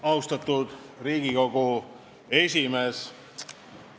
Austatud Riigikogu esimees!